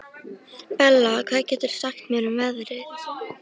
Bella, hvað geturðu sagt mér um veðrið?